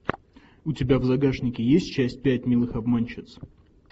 у тебя в загашнике есть часть пять милых обманщиц